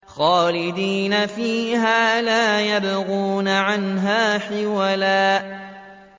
خَالِدِينَ فِيهَا لَا يَبْغُونَ عَنْهَا حِوَلًا